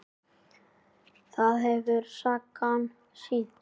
Það hefur sagan sýnt.